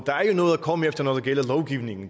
der er ikke noget at komme efter når det gælder lovgivningen